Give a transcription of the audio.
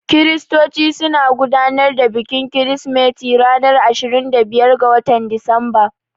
Kiristoci suna gudanar da bikin kirsimeti ranar ashirin da biyar ga watan Disamba.